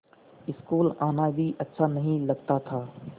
school आना भी अच्छा नहीं लगता था